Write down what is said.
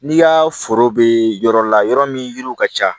N'i ka foro be yɔrɔ la yɔrɔ min yiri ka ca